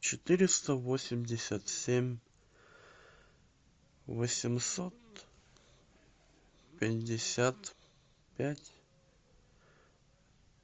четыреста восемьдесят семь восемьсот пятьдесят пять